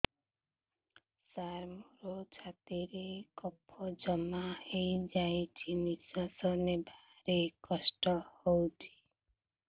ସାର ମୋର ଛାତି ରେ କଫ ଜମା ହେଇଯାଇଛି ନିଶ୍ୱାସ ନେବାରେ କଷ୍ଟ ହଉଛି